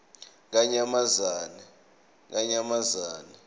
yakanyamazane